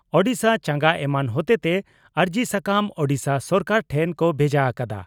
ᱳᱰᱤᱥᱟ ᱪᱟᱸᱜᱟ ᱮᱢᱟᱱ ᱦᱚᱛᱮᱛᱮ ᱟᱹᱨᱡᱤ ᱥᱟᱠᱟᱢ ᱳᱰᱤᱥᱟ ᱥᱚᱨᱠᱟᱨ ᱴᱷᱮᱱ ᱠᱚ ᱵᱷᱮᱡᱟ ᱟᱠᱟᱫᱟ ᱾